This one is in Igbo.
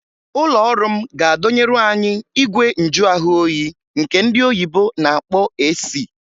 Ụlọọrụ m ga-adọnyeru anyị igwe njuahụoyi nke ndị oyibo na-akpọ AC